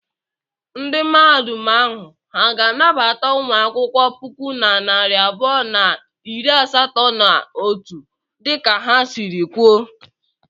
Ndị Mahadum ahụ ha ga-anabata ụmụ akwụkwọ puku na narị abụọ na iri asatọ na otu dịka ha sịrị kwuo?